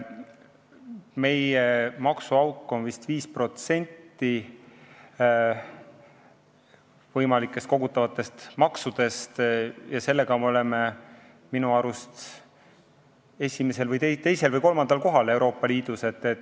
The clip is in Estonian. Meie maksuauk on vist 5% võimalikest kogutavatest maksudest ja sellega me oleme Euroopa Liidus minu arust teisel või kolmandal kohal.